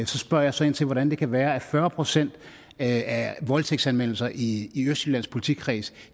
så spørger jeg så ind til hvordan det kan være at fyrre procent af voldtægtsanmeldelser i østjyllands politikreds